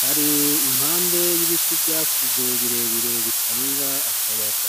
bari impande y'ibiti vyakuze birebire bitanga akayaga.